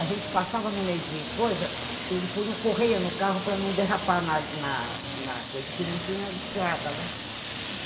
A gente passava no meio de coisa, ele punha correia no carro para não derrapar na na na coisa, porque não tinha estrada, né?